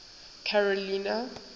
carolina